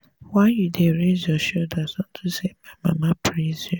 why you dey raise your shoulders unto say my mama praise you